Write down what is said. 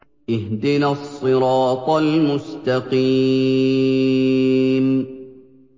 اهْدِنَا الصِّرَاطَ الْمُسْتَقِيمَ